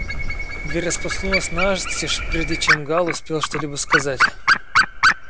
дверь распахнулась настежь прежде чем гаал успел что-либо сказать